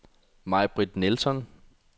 Majbritt Nilsson